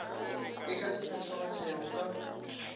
e ka se phethagatšwego ka